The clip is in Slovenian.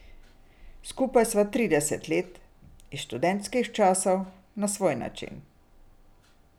Skupaj sva trideset let, iz študentskih časov, na svoj način.